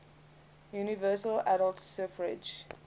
universal adult suffrage